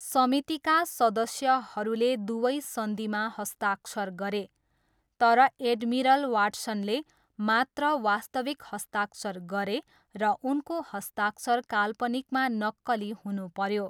समितिका सदस्यहरूले दुवै सन्धिमा हस्ताक्षर गरे, तर एडमिरल वाट्सनले मात्र वास्तविक हस्ताक्षर गरे र उनको हस्ताक्षर काल्पनिकमा नक्कली हुनुपऱ्यो।